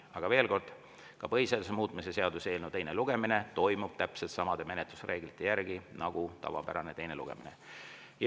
Aga veel kord, ka põhiseaduse muutmise seaduse eelnõu teine lugemine toimub täpselt samade menetlusreeglite järgi nagu tavapärane teine lugemine.